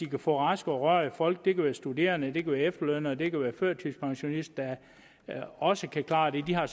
kan få raske og rørige folk det kan være studerende det kan være efterlønnere det kan være førtidspensionister der også kan klare det de har